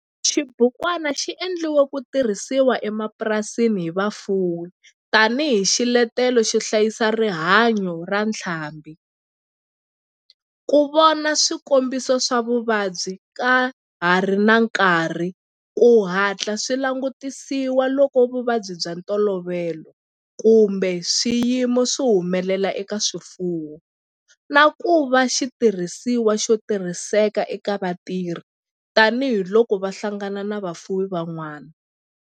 Xibukwana xi endliwe ku tirhisiwa emapurasini hi vafuwi tani hi xiletelo xo hlayisa rihanyo ra ntlhambhi, ku vona swikombiso swa vuvabyi ka ha ri na nkarhi ku hatla swi langutisiwa loko vuvabyi bya ntolovelo kumbe swiyimo swi humelela eka swifuwo, na ku va xitirhisiwa xo tirhiseka eka vatirhi tani hi loko va hlangana na vafuwi van'wana.